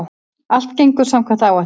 Allt gengur samkvæmt áætlun